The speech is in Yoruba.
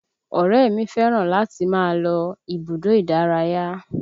Ọ̀rẹ́ mi fẹ́ràn láti máa lọ ibùdó ìdárayá